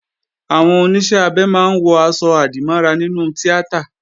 Àwọn Oníṣẹ́-abẹ máa ń wọ̀ aṣọ-àdìmọ́ra nínú tíátà